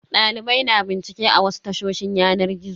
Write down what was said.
Dalibai na bincike a wasu tashoshin yanar gizo.